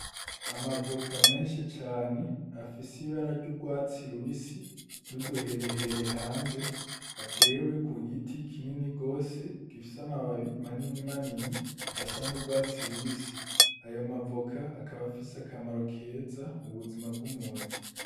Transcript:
Amavoka menshi cane afise ibara ry’urwatsi rubisi n’uduherehere hanze, atewe ku giti kinini gose gifise amababi manini manini asa n’urwatsi rubisi. Ayo mavoka akaba afise akamaro keza mu buzima bw'umuntu.